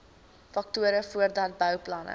faktore voordat bouplanne